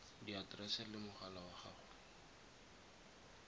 diaterese le mogala wa gago